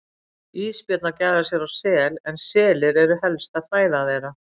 Ísbjörn að gæða sér á sel en selir eru helsta fæða þeirra.